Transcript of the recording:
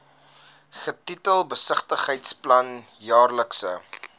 getitel besigheidsplan jaarlikse